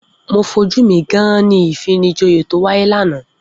Mo fojú mi gán-án-ní ìfinijoyè tó wáyé lánàá.